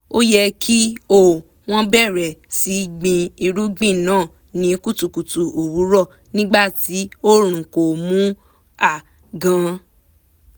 ó yẹ kí um wọ́n bẹ̀rẹ̀ sí gbin irúgbìn náà ní kùtùkùtù òwúrọ̀ nígbà tí oòrùn ko mú um gan